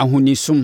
Ahonisom